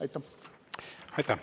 Aitäh!